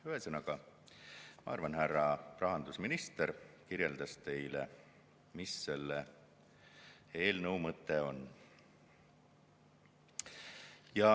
Ühesõnaga, ma arvan, härra rahandusminister kirjeldas teile, mis selle eelnõu mõte on.